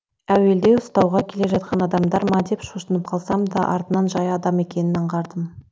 әуелде ұстауға келе жатқан адамдар ма деп шошынып қалсам да артынан жай адам екенін аңғардым